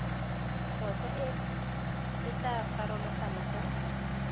tlhotlhwa e tla farologana go